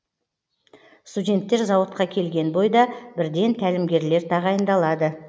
студенттер зауытқа келген бойда бірден тәлімгерлер тағайындалады